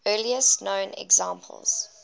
earliest known examples